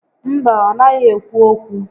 Mba, ọ naghị ékwú ókwú